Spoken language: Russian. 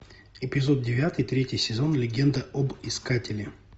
эпизод девятый третий сезон легенда об искателе